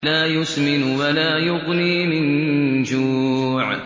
لَّا يُسْمِنُ وَلَا يُغْنِي مِن جُوعٍ